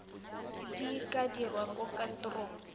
di ka dirwa kwa kantorong